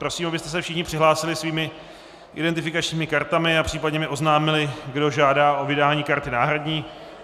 Prosím, abyste se všichni přihlásili svými identifikačními kartami a případně mi oznámili, kdo žádá o vydání karty náhradní.